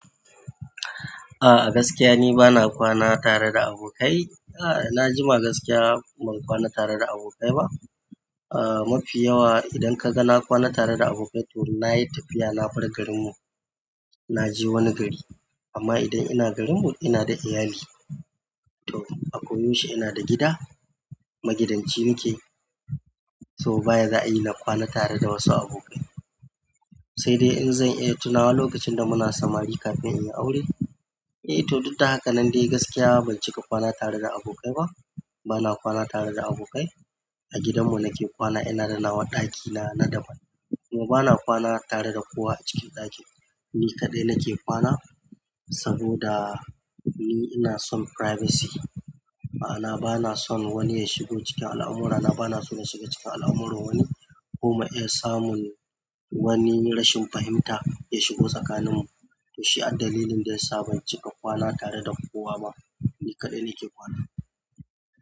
A gaskiya ni bana kwana tare da abokai. Najima gaskiya ban kwana tareda abokai ba. Ah mafi yawa idan kaga na kwana tareda abokai to nayi tafiya na bar garinmu naje wani gari. Amma idan ina garinmu inada iyali. To akwai yaushe inada gida. Magidanci nake. To ba yadda za'ayi nakwana tareda wasu abokai sai dai inzan iya tunawa lokacin damuna samari kafin inyi aure. Eh to duk dahaka nan dai gaskiya bancika kwana tareda abokai ba. Bana kwana tare da abokai. A gidanmu nake kwana inada nawa ɗakina na daban. Kuma bana kwana tareda kowa acikin ɗaki. Ni kaɗai nake kwana saboda ni ina son privacy. Ma'ana banason wani yashigo cikin al'amurana. Banason nashiga cikin al'amuran wani kuma iya samun wani rashin fahimta ya shigo tsakaninmu. Toshiba ad dalilin dayasa bancika kwana tareda kowa ba ni kaɗai nake kwana.